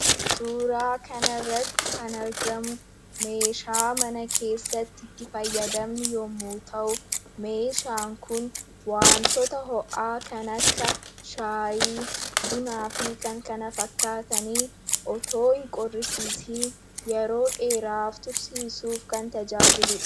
Suuraa kanarratti kan argamu meeshaa mana keessatti fayyadamnu yommuu ta'u, meeshaan kun wantoota ho'aa kan akka shaayii , bunaa fi kan kana fakkaatan osoo hin qorrisiisiin yeroo dheeraaf tursiisuuf kan tajaajiludha.